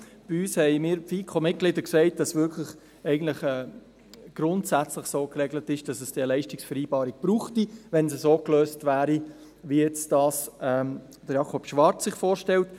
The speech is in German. Bei uns sagten mir die FiKo-Mitglieder, dass es grundsätzlich so geregelt sei, dass es eine Leistungsvereinbarung brauchte, wenn es so gelöst würde, wie es sich Jakob Schwarz vorstellt.